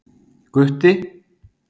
Gutti